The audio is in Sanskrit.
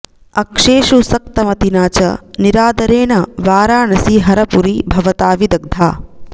अक्षेषु सक्तमतिना च निरादरेण वाराणसी हरपुरी भवता विदग्धा